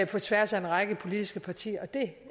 på tværs af en række politiske partier og det